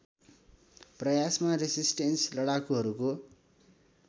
प्रयासमा रेसिस्टेन्स लडाकुहरूको